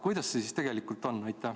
Kuidas sellega siis tegelikult on?